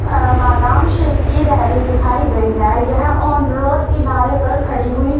अह बादाम शेक की रेहड़ी दिखाई गई है यह ऑन रोड किनारे पर खड़ी हुई--